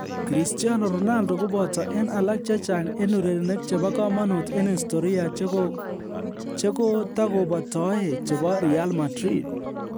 "Christiano Ronaldo koboto en alak chechang en urerenik chebo komonut en istoria chegotakobotoe chebo Real Madrid